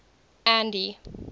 andy